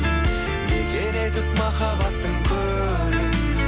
мекен етіп махаббаттың көлін